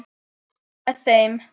Að vera með þeim.